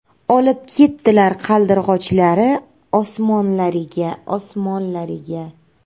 Olib ketdilar Qaldirg‘ochlari Osmonlariga, Osmonlariga.